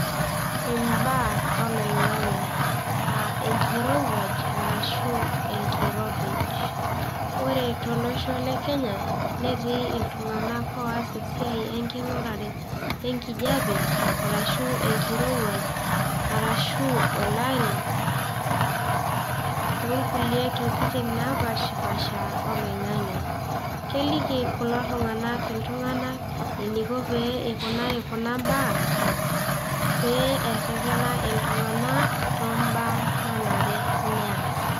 imbaa oloing''ang'e naa enkirowuaj arashu enkiropij, ore tolosho le kenya, netii iltung'anak oos esiai enking'urare enkijiape, arashu enkirowuaj, arashu olari, oo nkulie tokitin napaashipaasha oloing'ang'e. keliki kulo tung'anak iltung'anak eniko pee ikunaki kuna baa too baa nanare neas.